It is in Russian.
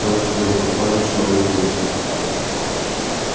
там сидела компания человек восемь